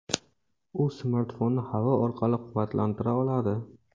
U smartfonni havo orqali quvvatlantira oladi.